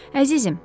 Əzizim,